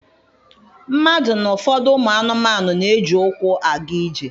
Mmadụ na ụfọdụ ụmụ anụmanụ na-eji ụkwụ aga ije.